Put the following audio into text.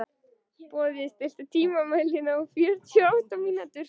Boði, stilltu tímamælinn á fjörutíu og átta mínútur.